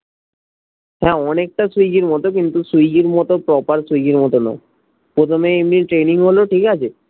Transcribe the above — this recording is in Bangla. হ্যা অনেক টা সুইগির মতো কিন্ত সুইগির মতো proper সুইগির মতো নয় প্রথমে এমনি ট্রেনিং হলো ঠিকাছে